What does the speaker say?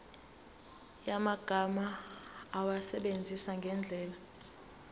yamagama awasebenzise ngendlela